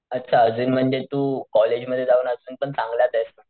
अच्छा आजून म्हणजे तू कॉलेज मध्ये जाऊन अजून पण चांगलाचेस.